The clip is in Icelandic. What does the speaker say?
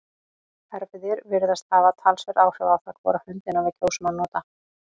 erfðir virðast hafa talsverð áhrif á það hvora höndina við kjósum að nota